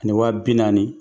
Ani waa bi naani,